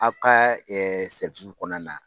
Aw ka kɔnɔna na.